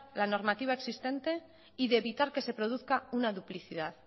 la normativa existente y de evitar que se produzca una duplicidad